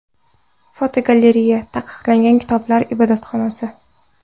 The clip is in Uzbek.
Fotogalereya: Taqiqlangan kitoblar ibodatxonasi.